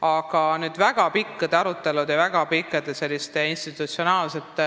Aga väga pikkade arutelude ja institutsionaalsete